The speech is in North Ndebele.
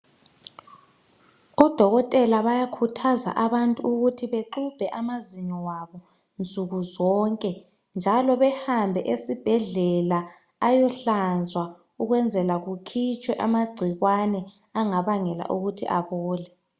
Odokotela bayakhuthaza abantu ukuthi baxubhe amazinyo wabo nsukuzonke, njalo bahambe esibhedlela ayohlanzwa ukwenzela kukhitshwe amagcikwane angabangela ukuthi abole.